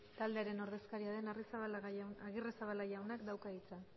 taldearen ordezkaria den agirrezabala jaunak dauka hitza